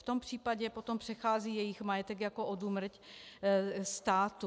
V tom případě potom přechází jejich majetek jako odúmrť státu.